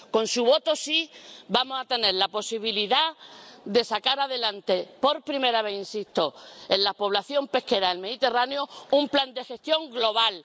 Con su voto afirmativo vamos a tener la posibilidad de sacar adelante, por primera vez en la población pesquera del Mediterráneo, un plan de gestión global.